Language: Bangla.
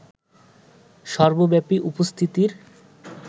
সর্বব্যাপী উপস্থিতির